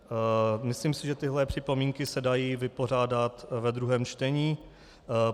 Myslím si, že tyhle připomínky se dají vypořádat ve druhém čtení.